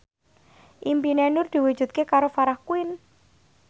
impine Nur diwujudke karo Farah Quinn